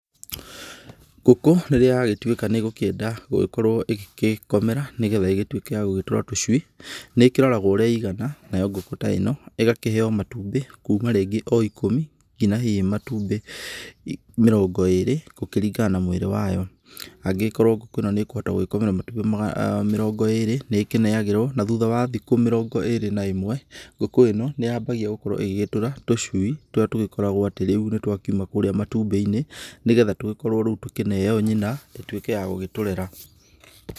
Ngũkũ rĩrĩa yagĩtuĩka nĩ ĩgũkĩenda gũkorwo ĩgĩgĩkomera, nĩgetha ĩgĩtuĩke ya gũgĩtũra tũcui, nĩ ĩkĩroragwo ũrĩa ĩigana, nayo ngũkũ ta ĩno, ĩgakĩheo matumbĩ kuma rĩngĩ o ikũmi, nginya hihi matumbĩ mĩrongó ĩrĩ, gũkĩringana na mwĩrĩ wayo, angĩgĩkorwo ngũkũ ĩno nĩ ĩkũhota gũkomera matumbĩ mĩrongo ĩrĩ, nĩ ĩkĩnengagĩrwo, na thutha wa thikũ mĩrongo ĩrĩ na ĩmwe, ngũkũ ĩno nĩ yambagia gũkorwo ĩgĩtũra tũcui tũrĩa tũgĩkoragwo atĩ rĩu nĩ twakiuma kũrĩa matumbĩ-inĩ, nĩgetha tũgĩkorwo rĩu tũkĩneo nyina, ĩtuĩke ya gũgĩtũrera.